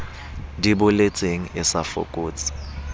di boletseng e sa fokotse